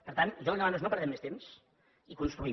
per tant jo li demano que no perdem més temps i construïm